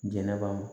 Jɛnɛba